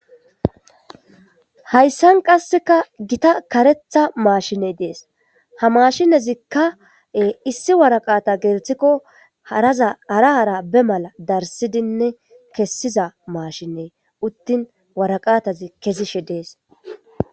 Hayssan qasseka gita karetha maashiney dees ha maashinezikkae issi waraqata geerthikko zahara hara be mala darsidinne kessiza maashinne uttin waraqatazi kesishe dees.